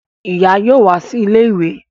Ìyá yóò wá sí ilé ìwé